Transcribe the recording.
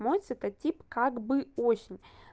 мой цветотип как бы осень